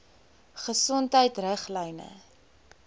gesondheidriglyne